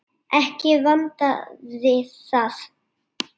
Ekki vantaði það.